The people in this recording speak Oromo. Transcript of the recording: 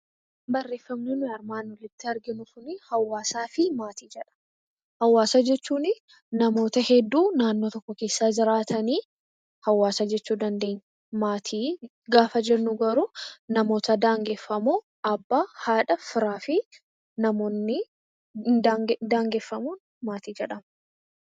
Hawaasa jechuun namoota hedduu naannoo tokko keessa jiraatan hawaasa jechuu dandeenya. Maatii gaafa jennu garuu namoota daangeffamoo abbaa, haadha, firaa fi ijoolleen maatii jedhamu.